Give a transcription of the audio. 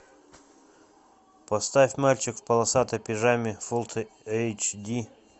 поставь мальчик в полосатой пижаме фул эйч ди